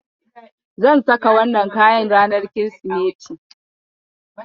Zan saka wannan kayan ranar Kirsimeti.